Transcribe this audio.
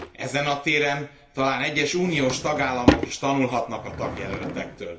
Ezen a téren talán egyes uniós tagállamok is tanulhatnak a tagjelöltektől.